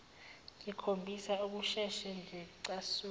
ngikhombisa ukusheshe ngicasuke